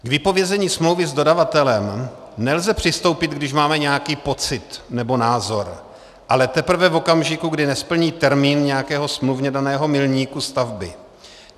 K vypovězení smlouvy s dodavatelem nelze přistoupit, když máme nějaký pocit nebo názor, ale teprve v okamžiku, kdy nesplní termín nějakého smluvně daného milníku stavby.